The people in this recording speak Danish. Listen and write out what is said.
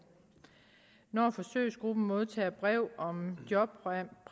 når forsøgsgruppen modtager brev om jobpræmier